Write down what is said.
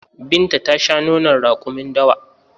Binta ta shan nonon raƙumin dawa